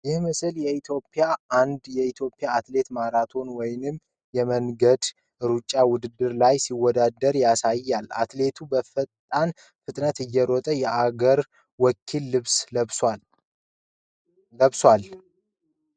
ይህ ምስል አንድ ኢትዮጵያዊ አትሌት ማሪቶን ወይም የመንገድ ሩጫ ውድድር ላይ ሲወዳደር ያሳያል። አትሌቱ በፈጣን ፍጥነት እየሮጠ የአገር ወኪሉን ልብስ ለብሷል።